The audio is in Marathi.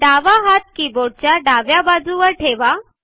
डावा हात कीबोर्ड च्या डाव्या बाजूवर ठेवा